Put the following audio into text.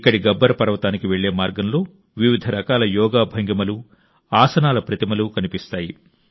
ఇక్కడి గబ్బర్ పర్వతానికి వెళ్లే మార్గంలో మీరు వివిధ రకాల యోగా భంగిమలు ఆసనాల ప్రతిమలు కనిపిస్తాయి